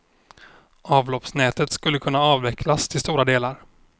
Avloppsnätet skulle kunna avvecklas till stora delar.